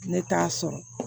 Ne t'a sɔrɔ